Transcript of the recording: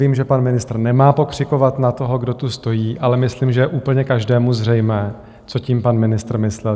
Vím, že pan ministr nemá pokřikovat na toho, kdo tu stojí, ale myslím, že je úplně každému zřejmé, co tím pan ministr myslel.